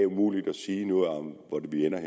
umuligt at sige noget om hvor vi ender